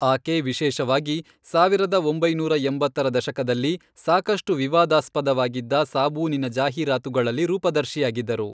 ಆಕೆ ವಿಶೇಷವಾಗಿ, ಸಾವಿರದ ಒಂಬೈನೂರ ಎಂಬತ್ತರ ದಶಕದಲ್ಲಿ, ಸಾಕಷ್ಟು ವಿವಾದಾಸ್ಪದವಾಗಿದ್ದ ಸಾಬೂನಿನ ಜಾಹೀರಾತುಗಳಲ್ಲಿ ರೂಪದರ್ಶಿಯಾಗಿದ್ದರು.